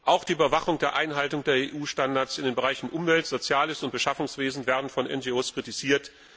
Auch die Überwachung der Einhaltung der EU Standards in den Bereichen Umwelt, Soziales und Beschaffungswesen werden von NGO kritisiert.